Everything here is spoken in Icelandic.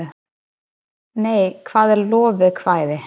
hvað er lovekvæði